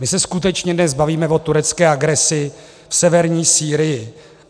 My se skutečně dnes bavíme o turecké agresi v severní Sýrii.